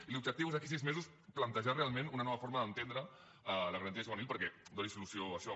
i l’objectiu és d’aquí a sis mesos plantejar realment una nova forma d’entendre la garantia juvenil perquè doni solució a això